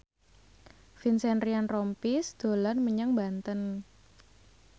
Vincent Ryan Rompies dolan menyang Banten